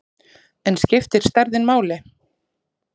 En skiptir stærðin máli?